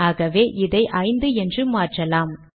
ஆக்வே இதை ஐந்து என்று மாற்றலாம்